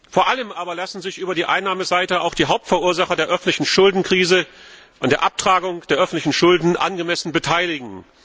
Vor allem lassen sich über die Einnahmeseite auch die Hauptverursacher der öffentlichen Schuldenkrise angemessen an der Abtragung der öffentlichen Schulden beteiligen.